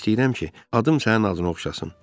Bir də istəyirəm ki, adım sənin adın oxşasın.